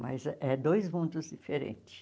Mas é dois mundos diferentes.